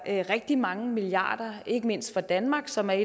rigtig mange milliarder ikke mindst for danmark som er